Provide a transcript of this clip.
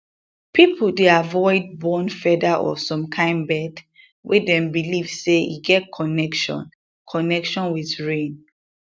people dey avoid burn feather of some kain bird wey dem believe say e get connection connection with rain